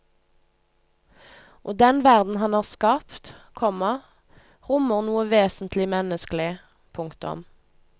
Og den verden han har skapt, komma rommer noe vesentlig menneskelig. punktum